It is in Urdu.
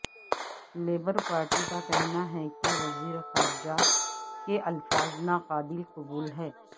لیبر پارٹی کا کہنا ہے کہ وزیرخارجہ کے الفاظ ناقابل قبول ہیں